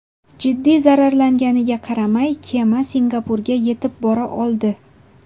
Jiddiy zararlanganiga qaramay, kema Singapurga yetib bora oldi.